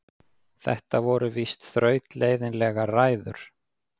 Þetta voru víst þrautleiðinlegar ræður.